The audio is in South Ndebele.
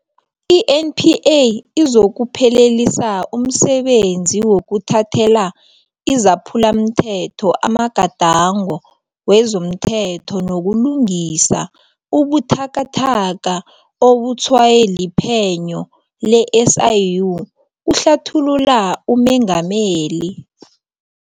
INPA izokuphelelisa umsebenzi wokuthathela izaphulamthetho amagadango wezomthetho nokulungisa ubuthakathaka obutshwaywe liphenyo le-SIU, kuhlathulula uMengameli.